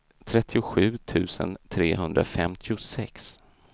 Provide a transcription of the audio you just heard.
trettiosju tusen trehundrafemtiosex